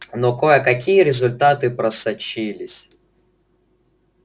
но кое-какие результаты просочились